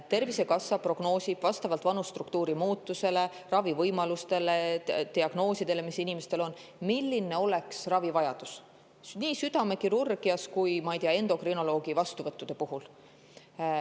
Tervisekassa prognoosib vastavalt vanusestruktuuri muutusele, ravivõimalustele ja diagnoosidele, mis inimestel on, milline on ravivajadus näiteks südamekirurgias või ka, ma ei tea, endokrinoloogi vastuvõttude puhul.